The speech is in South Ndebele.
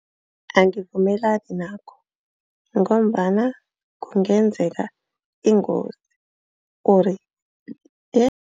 Angivumelani nakho ngombana kungenzeka ingozi ori